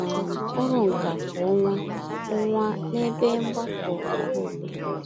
um ọrụnkà kwa ọnwa ọnwa n'ebe mgbakọ ọhaobodo.